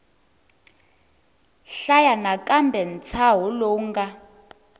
hlaya nakambe ntshaho lowu nga